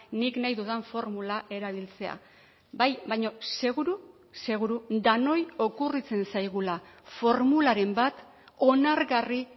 nik nahi dudan formula erabiltzea bai baina seguru seguru denoi okurritzen zaigula formularen bat onargarri